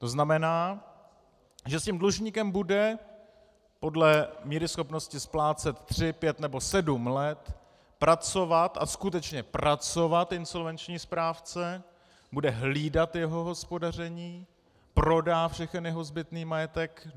To znamená, že s tím dlužníkem bude podle míry schopnosti splácet tři, pět nebo sedm let, pracovat a skutečně pracovat insolvenční správce, bude hlídat jeho hospodaření, prodá všechen jeho zbytný majetek.